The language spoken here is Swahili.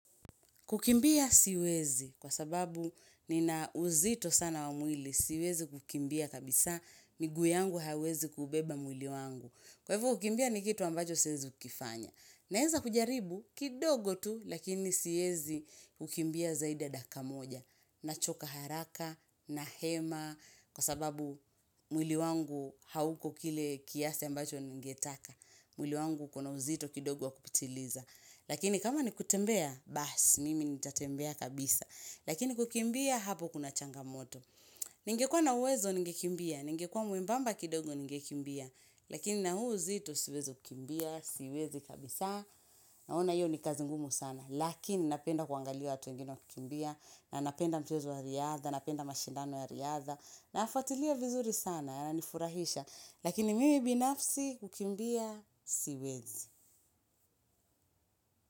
Kukimbia siwezi, kwa sababu nina uzito sana wa mwili, siwezi kukimbia kabisa, miguu yangu haiwezi kubeba mwili wangu. Kwa hivyo, kukimbia ni kitu ambacho siwezi kukifanya. Naeza kujaribu, kidogo tu, lakini siwezi kukimbia zaidi dakika moja. Nachoka haraka, nahema, kwa sababu mwili wangu hauko kile kiasi ambacho ningetaka. Mwili wangu ukona uzito kidogo wakupitiliza. Lakini kama ni kutembea, baas, mimi ni tatembea kabisa. Lakini kukimbia, hapo kuna changamoto. Ningekua na uwezo, ningekimbia. Ningekua mwembamba kidogo, ningekimbia. Lakini na huu uzito, siwezi kukimbia, siwezi kabisa. Naona hiyo ni kazi ngumu sana. Lakini napenda kuangalia watu wengine wakikimbia. Na napenda mchezo wa riadha, napenda mashindano ya riadha. Nafuatilia vizuri sana, yananifurahisha. Lakini mimi binafsi, kukimbia, siwezi.